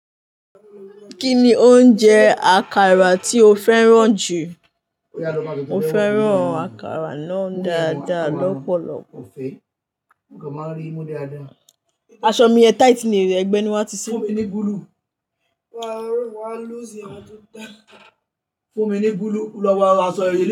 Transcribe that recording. Kíni oúnjẹ àkàrà tí o féràn jù? Mo féràn àkàrà náà dáadáa lọ́pọ̀lọ́pọ̀. Aṣọ mi ẹ̀ tight ni, ẹgbẹ́ ni wà tí ṣe. Fún mi ní bulu lọ́wọ́ aṣọ yí.